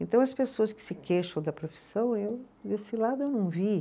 Então as pessoas que se queixam da profissão, esse lado eu não vi.